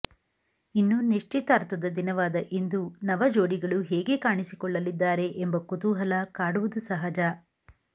ಇನ್ನು ನಿಶ್ಚಿತಾರ್ಥದ ದಿನವಾದ ಇಂದು ನವ ಜೋಡಿಗಳು ಹೇಗೆ ಕಾಣಿಸಿಕೊಳ್ಳಲಿದ್ದಾರೆ ಎಂಬ ಕುತೂಹಲ ಕಾಡುವುದು ಸಹಜ